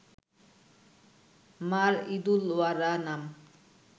মার ঈদুল ওয়ারা নাম